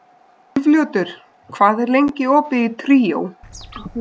Úlfljótur, hvað er lengi opið í Tríó?